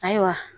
Ayiwa